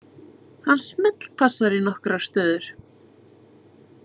Hann smellpassar í nokkrar stöður.